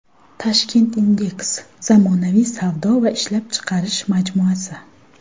Tashkent Index zamonaviy savdo va ishlab chiqarish majmuasi.